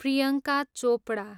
Priyanka Chopra